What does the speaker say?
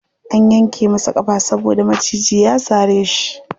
An yanke masa ƙafa saboda maciji ya sare shi.